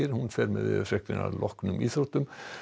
fer með veðurfregnir að loknum íþróttum